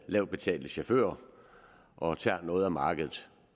lavt betalte chauffører og tager noget af markedet